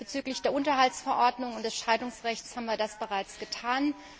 Bezüglich der Unterhaltsverordnung und des Scheidungsrechts haben wir das bereits getan.